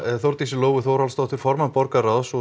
Þórdísi Lóu Þórhallsdóttur formann borgarráðs og